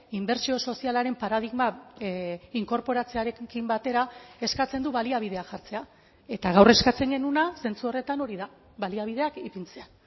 inbertsio sozialaren paradigma inkorporatzearekin batera eskatzen du baliabideak jartzea eta gaur eskatzen genuena zentzu horretan hori da baliabideak ipintzea